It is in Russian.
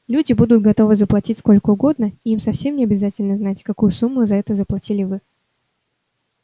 люди будут готовы заплатить сколько угодно и им совсем не обязательно знать какую сумму за это заплатили вы